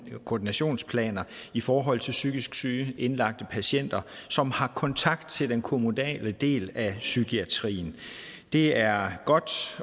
koordinationsplaner i forhold til psykisk syge indlagte patienter som har kontakt til den kommunale del af psykiatrien det er godt